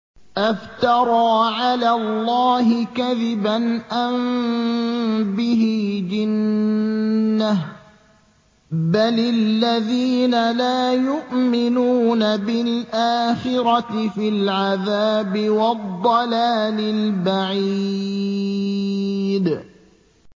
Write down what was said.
أَفْتَرَىٰ عَلَى اللَّهِ كَذِبًا أَم بِهِ جِنَّةٌ ۗ بَلِ الَّذِينَ لَا يُؤْمِنُونَ بِالْآخِرَةِ فِي الْعَذَابِ وَالضَّلَالِ الْبَعِيدِ